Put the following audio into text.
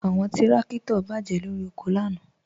Awọn tìrakito bá jẹ lọ́ri oko lànà.